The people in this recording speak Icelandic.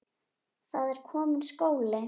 Það er kominn skóli.